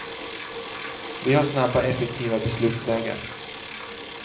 Vi har snabba, effektiva beslutsvägar.